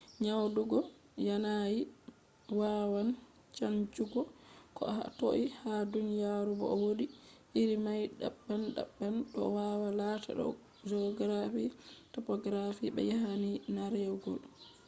nyaɗugo yanayi wawan chanjugo ko ha toi ha duniyaru bo wodi iri mai daban daban ɗo wawa lata do geography topography be yanayi nargewol